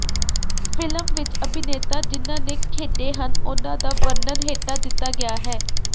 film ਵਿਚ ਅਭਿਨੇਤਾ ਜਿਨ੍ਹਾਂ ਨੇ ਖੇਡੇ ਹਨ ਉਨ੍ਹਾਂ ਦਾ ਵਰਨਣ ਹੇਠਾਂ ਦਿੱਤਾ ਗਿਆ ਹੈ